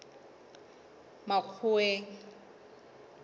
makgoweng